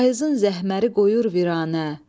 Payızın zəhməri qoyur viranə.